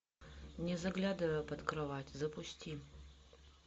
не заглядывай под кровать запусти